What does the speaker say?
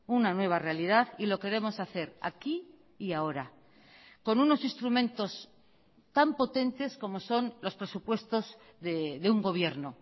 una nueva realidad y lo queremos hacer aquí y ahora con unos instrumentos tan potentes como son los presupuestos de un gobierno